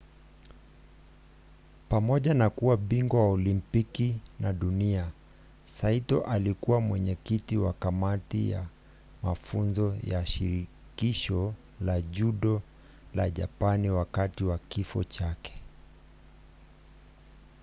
pamoja na kuwa bingwa wa olimpiki na dunia saito alikuwa mwenyekiti wa kamati ya mafunzo ya shirikisho la judo la japani wakati wa kifo chake